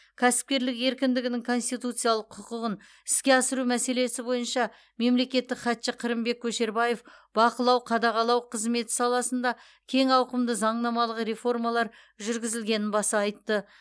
кәсіпкерлік еркіндігінің конституциялық құқығын іске асыру мәселесі бойынша мемлекеттік хатшы қырымбек көшербаев бақылау қадағалау қызметі саласында кең ауқымды заңнамалық реформалар жүргізілгенін баса айтты